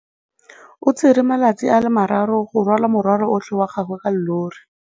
O tsere malatsi a le marraro go rwala morwalo otlhe wa gagwe ka llori.